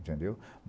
Entendeu?